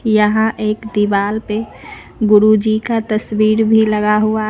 यहां एक दीवाल पे गुरु जी का तस्वीर भी लगा हुआ--